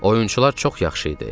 Oyunçular çox yaxşı idi.